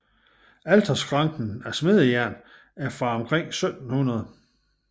Alterskranken af smedejern er fra omkring 1700